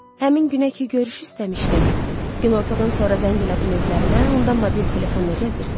Həmin günə ki görüş istəmişdim, günortadan sonra zəng elədim evlərinə, onda mobil telefon nə gəzirdi?